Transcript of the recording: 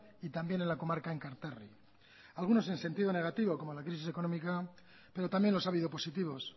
y también en la comarca enkarterri algunos en sentido negativo como la crisis económica pero también los ha habido positivos